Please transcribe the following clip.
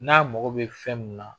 N'a mago bɛ fɛn min na